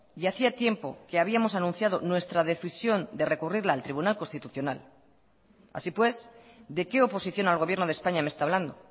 y hacía tiempo que habíamos anunciado nuestra decisión de recurrirla al tribunal constitucional así pues de qué oposición al gobierno de españa me está hablando